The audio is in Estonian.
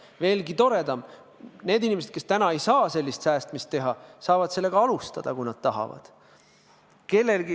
Veelgi toredam: need inimesed, kes praegu ei saa sellisel moel säästa, saavad seda alustada, kui nad tahavad.